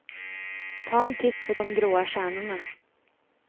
Ta en titt på de gråa stjärnorna.